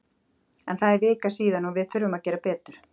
En það er vika síðan og við þurfum að gera betur.